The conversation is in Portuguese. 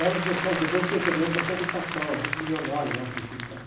Era um pessoal, depois eu fiquei sabendo, era um pessoal do cacau, gente milionária lá que mexia no cacau.